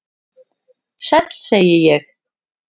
"""Sæll, segi ég."""